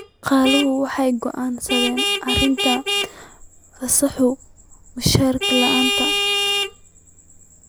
Shaqaaluhu waxay go'aansadeen arrinta fasaxa mushahar la'aanta.